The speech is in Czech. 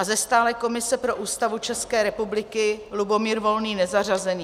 A ze stálé komise pro Ústavu České republiky Lubomír Volný nezařazení.